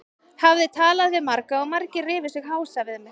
Hafði talað við marga og margir rifu sig hása við mig.